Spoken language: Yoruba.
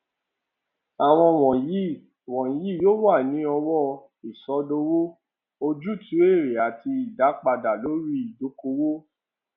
àwọn wọnyí wọnyí yóò wà ní ọwọ ìsọdowó ojútùú èrè àti ìdápadà lórí ìdókòwò